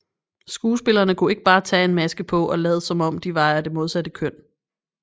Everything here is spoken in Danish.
Skuespillerne kunne ikke bare tage en maske på og lade som om de var af det modsatte køn